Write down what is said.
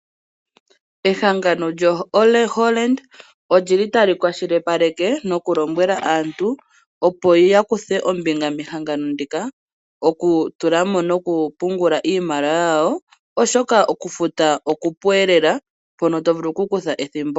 Ehangano lyoHollard olyili tali kwashilipaleke nokulombwela aantu opo yakuthe ombinga mehangano ndika okutulamo nokupungulamo iimaliwa yawo oshoka okufuta okupuelela.